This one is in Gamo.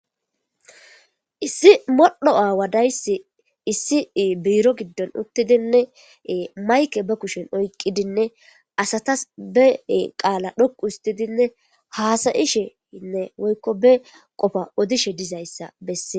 Issi modhdho aawa dayssi issi biiro giddon uttidinne mayke be kushen oyqidinne asatas be qaala dhoqu histidinne haasa'isheinne woykko be qofa odishe dizayssa bessees.